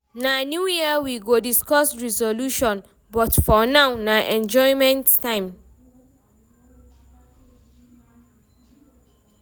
Na new year we go discuss resolution, but for now, na enjoyment time.